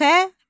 Xəmir.